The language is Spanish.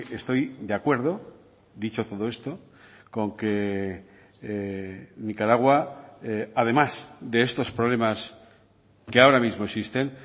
estoy de acuerdo dicho todo esto con que nicaragua además de estos problemas que ahora mismo existen